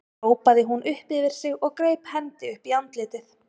hrópaði hún upp yfir sig og greip hendi upp í andlitið.